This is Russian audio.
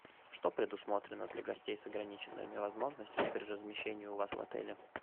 что предусмотрено для гостей с ограниченными возможностями при размещении у вас в отеле